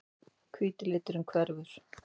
Hvíti liturinn hverfur.